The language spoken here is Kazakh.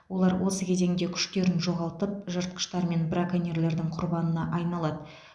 олар осы кезеңде күштерін жоғалтып жыртқыштар мен браконьерлердің құрбанына айналады